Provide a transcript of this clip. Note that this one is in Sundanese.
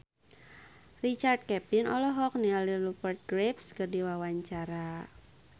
Richard Kevin olohok ningali Rupert Graves keur diwawancara